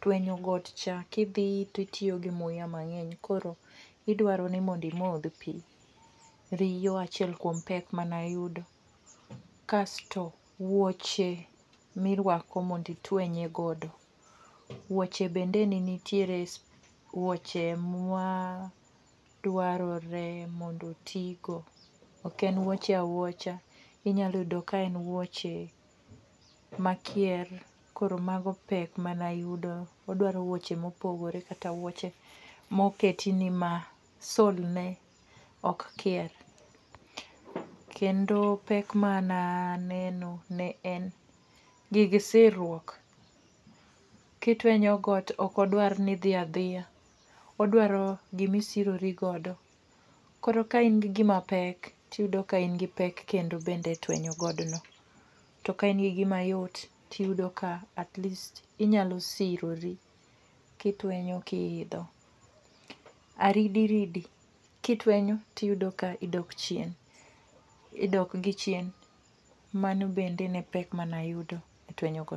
Twenyo got cha kidhi titiyo gi muya mang'eny kori dwa ni mondi modh pii riyo e achiel kuom pek manayudo . Kasto wuoche mirwako mondi tweny gode wuoche bende ne nitiere wuoche mwadwarore mondo oti go ok en wuoche awuocha. Inyalo yudo ka en wuoche makier koro mago pek manayudo, idwaro wuocho mopogore kata wuoche moketi ni ma sol ne ok kier. Kendo opek mananeno en gig sirruok ok odwar ni didhi adhiya odwa gimi sirori godo koro ka in gi gima pek tiyudo pek kendo e twenyo god no to ka in gi gima yot tiyudo ka atleast inyalo sirori kitwenyo kiidho. Aridiridi kitwenyo tiyudo kidok chien idok gi chien mano bende e pek mana yudo e twenyo got.